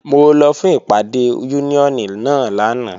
Mo lọ fún ìpàdé Úníónì náà lánàá